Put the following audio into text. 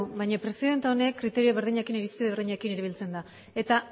baina presidenta honek kriterio berdinekin irizpide berdinekin erabiltzen da eta